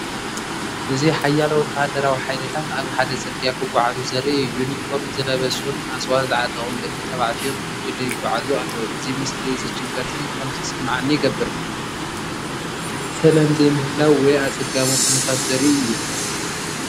እዚ ሓያሎ ወተሃደራዊ ሓይልታት ኣብ ሓደ ጽርግያ ክጓዓዙ ዘርኢ እዩ። ዩኒፎርም ዝለበሱን ኣጽዋር ዝዓጠቑን ደቂ ተባዕትዮ ብጉጅለ ይጓዓዙ ኣለዉ። እዚ ምስሊ እዚ ጭንቀትን ከም ዝስምዓኒ ይገብር፤ ሰላም ዘይምህላው ወይ ኣጸጋሚ ኩነታት ዘርኢ እዩ።